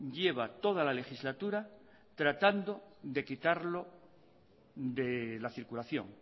lleva toda la legislatura tratando de quitarlo de la circulación